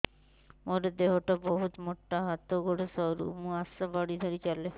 ମୋର ଦେହ ଟା ବହୁତ ମୋଟା ହାତ ଗୋଡ଼ ସରୁ ମୁ ଆଶା ବାଡ଼ି ଧରି ଚାଲେ